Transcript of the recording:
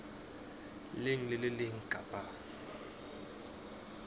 leng le le leng kapa